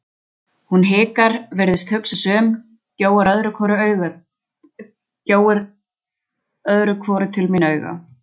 Hún hikar, virðist hugsa sig um, gjóar öðru hvoru til mín auga.